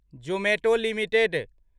Zomato limited